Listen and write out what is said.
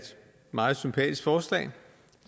meget sympatisk forslag